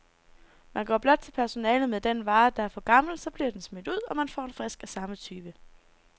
Man går blot til personalet med den vare, der er for gammel, så bliver den smidt ud, og man får en frisk af samme type.